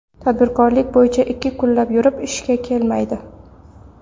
Tadbirkorlik bo‘yicha ikki kunlab yurib, ishga kelmaydi.